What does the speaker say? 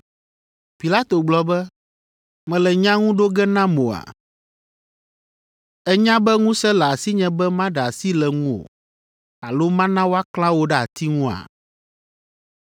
Pilato gblɔ be, “Mèle nya ŋu ɖo ge nam oa? Ènya be ŋusẽ le asinye be maɖe asi le ŋuwò alo mana woaklã wò ɖe ati ŋua?”